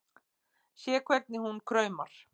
Sé hvernig hún kraumar.